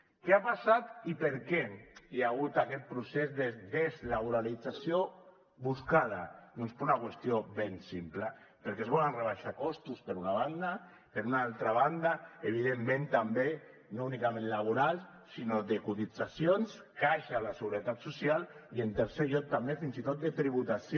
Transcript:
què ha passat i per què hi ha hagut aquest procés de deslaboralització buscada doncs per una qüestió ben simple perquè es volen rebaixar costos per una banda per una altra banda evidentment també no únicament laboral sinó de cotitzacions caixa a la seguretat social i en tercer lloc també fins i tot de tributació